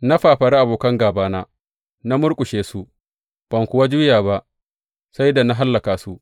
Na fafari abokan gābana, na murƙushe su; ban kuwa juya ba sai da na hallaka su.